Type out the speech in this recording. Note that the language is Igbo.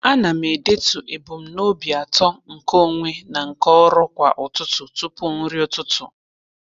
A na m edetu ebumnobi atọ nke onwe na nke ọrụ kwa ụtụtụ tụpụ nri ụtụtụ.